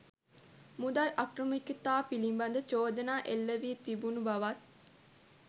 මුදල් අක්‍රමිකතා පිළිබඳ චෝදනා එල්ලවී තිබුණු බවත්